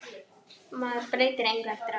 Maður breytir engu eftir á.